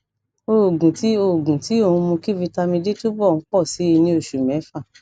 oògùn tí ó oògùn tí ó ń mú kí vitamin d túbọ ń pọ sí i ní òṣù mẹfà